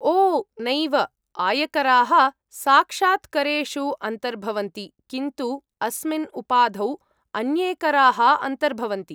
ओ नैव, आयकराः साक्षात्करेषु अन्तर्भवन्ति, किन्तु अस्मिन् उपाधौ अन्ये कराः अन्तर्भवन्ति।